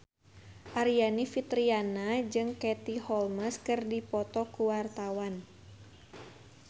Aryani Fitriana jeung Katie Holmes keur dipoto ku wartawan